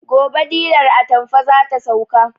Gobe dilar atamfar zata sauka